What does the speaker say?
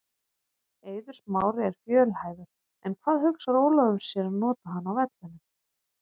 Eiður Smári er fjölhæfur en hvar hugsar Ólafur sér að nota hann á vellinum?